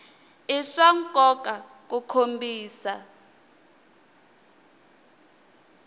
i swa nkoka ku kombisa